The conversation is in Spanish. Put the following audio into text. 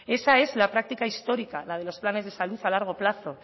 esa es la práctica histórica la de los planes de salud a largo plazo